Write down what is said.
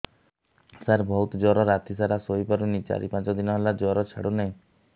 ସାର ବହୁତ ଜର ରାତି ସାରା ଶୋଇପାରୁନି ଚାରି ପାଞ୍ଚ ଦିନ ହେଲା ଜର ଛାଡ଼ୁ ନାହିଁ